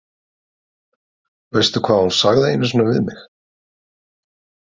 Veistu hvað hún sagði einu sinni við mig?